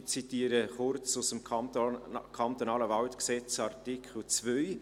Ich zitiere kurz aus dem KWaG, Artikel 2: